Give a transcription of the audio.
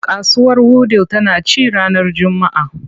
Kasuwar Wudil tana ci ranar Juma’a.